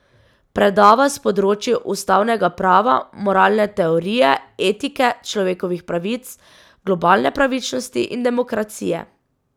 Predava s področij ustavnega prava, moralne teorije, etike, človekovih pravic, globalne pravičnosti in demokracije.